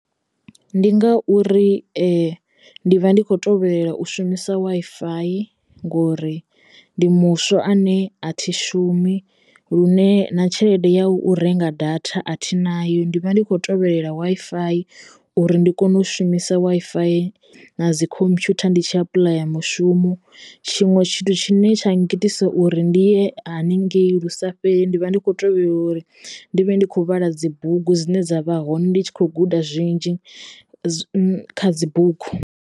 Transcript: Ndi ngauri ndi vha ndi kho tovhelela u shumisa waifayi ngori ndi muswa ane a thi shumi lune na tshelede ya u renga data athi nayo ndi vha ndi kho tovhelela Wi-Fi uri ndi kone u shumisa Wi-Fi na dzi khomphutha ndi tshi apuḽaya mushumo tshiṅwe tshithu tshine tsha ngita uri ndi ye haningei lu sa fheli ndi vha ndi kho teyo uri ndi vhe ndi kho vhala dzibugu dzine dza vha hone ndi tshi khou guda zwinzhi kha dzi bugu.